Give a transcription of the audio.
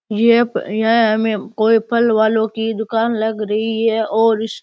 यह हमें कोई फल वालो की दुकान लग रही है और इस --